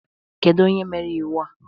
Kedu onye mere iwu a?